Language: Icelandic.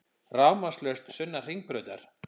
Rafmagnslaust sunnan Hringbrautar